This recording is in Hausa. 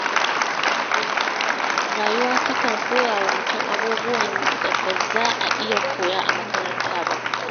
Rayuwa ta kan koya wa mutum abubuwan da ba za a iya koya a makaranta ba.